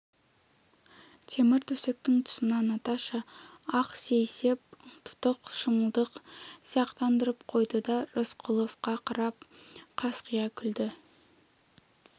темір төсектің тұсына наташа ақ сейсеп тұтып шымылдық сияқтандырып қойды да рысқұловқа қарап қасқия күлді